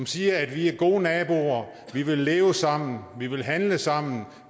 sige at vi er gode naboer vi vil leve sammen vi vil handle sammen